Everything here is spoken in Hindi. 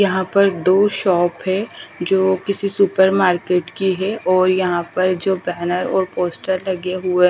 यहां पर दो शॉप है जो किसी सुपर मार्केट की है और यहां पर जो बैनर और पोस्टर लगे हुए--